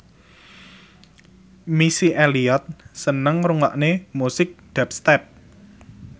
Missy Elliott seneng ngrungokne musik dubstep